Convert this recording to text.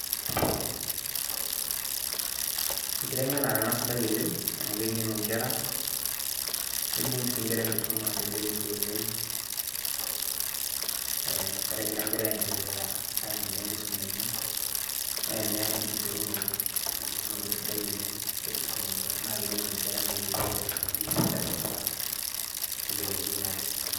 Enkiteng'enare ena sidai oleng',amu keng'enu nkera. Neibung si nkera enkisuma teleleki oleng'. Ah ore egira nkera aiendelea enkisuma enye, na ena enkiterunoto. Enkiterunoto sidai oleng tenkisuma onkera. Na keng'enu nkera neyiolou aisumata teleleki na tesidano.